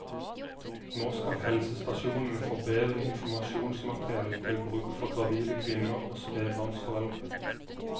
Nå skal helsestasjonene få bedre informasjonsmateriell til bruk for gravide kvinner og spebarnsforeldre.